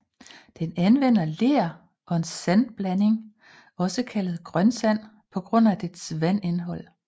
Den anvender ler og en sandblanding også kaldet grønsand på grund af dets vandindhold